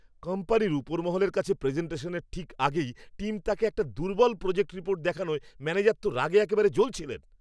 কোম্পানির উপরমহলের কাছে প্রেজেন্টেশনের ঠিক আগেই টিম তাঁকে একটা দুর্বল প্রজেক্ট রিপোর্ট দেখানোয় ম্যানেজার তো রাগে একেবারে জ্বলছিলেন।